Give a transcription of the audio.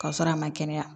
K'a sɔrɔ a ma kɛnɛya